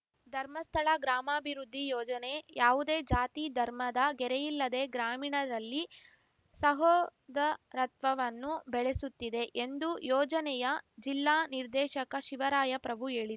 ಧರ್ಮಸ್ಥಳ ಗ್ರಾಮಾಭಿವೃದ್ಧಿ ಯೋಜನೆ ಯಾವುದೇ ಜಾತಿ ಧರ್ಮದ ಗೆರೆಯಿಲ್ಲದೆ ಗ್ರಾಮೀಣರಲ್ಲಿ ಸಹೋದರತ್ವವನ್ನು ಬೆಳೆಸುತ್ತಿದೆ ಎಂದು ಯೋಜನೆಯ ಜಿಲ್ಲಾ ನಿರ್ದೇಶಕ ಶಿವರಾಯ ಪ್ರಭು ಹೇಳಿ